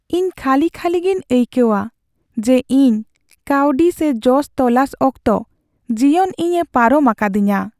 ᱤᱧ ᱠᱷᱟᱹᱞᱤ ᱠᱷᱟᱹᱞᱤ ᱜᱮᱧ ᱟᱭᱠᱟᱹᱣᱟ ᱡᱮ ᱤᱧ ᱠᱟᱹᱣᱰᱤ ᱥᱮ ᱡᱚᱥ ᱛᱚᱞᱟᱥ ᱚᱠᱛᱚ ᱡᱤᱭᱚᱱ ᱤᱧᱮ ᱯᱟᱨᱚᱢ ᱟᱠᱟᱫᱤᱧᱟᱹ ᱾